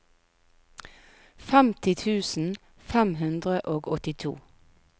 femti tusen fem hundre og åttito